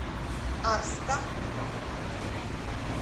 арска